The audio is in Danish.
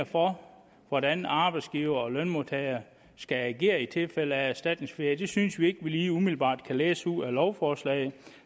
for hvordan arbejdsgivere og lønmodtagere skal agere i tilfælde af erstatningsferie det synes vi ikke vi lige umiddelbart kan læse ud af lovforslaget